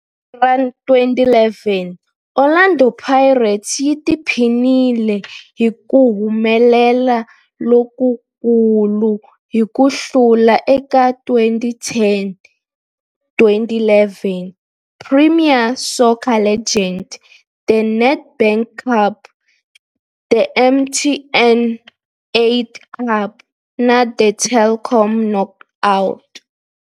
Hi lembe ra 2011, Orlando Pirates yi tiphinile hi ku humelela lokukulu hi ku hlula eka 2010-11 Premier Soccer League, The Nedbank Cup, The MTN 8 Cup na The Telkom Knockout.